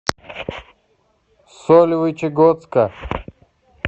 сольвычегодска